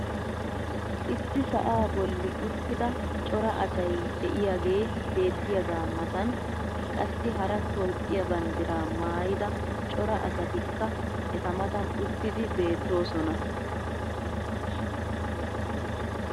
issi sa"aa boli uttida cora asay diyaagee beetiyaagaa matan qassi hara toophphiya banddiraa maayida cora asatikka eta matan uttidi beetoosona.